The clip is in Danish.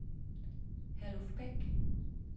Herluf Beck